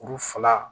Kuru fila